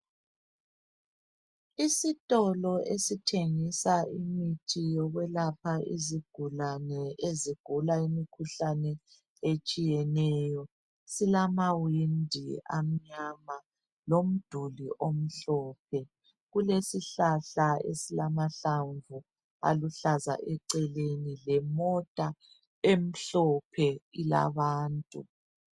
Isitolo esithengisa imithi yokwelapha izigulane ezigula imikhuhlane etshiyeneyo, silamawindi amnyama lomduli omhlophe. Kulesihlahla esilamahlamvu aluhlaza eceleni lemota emhlophe ilabantu.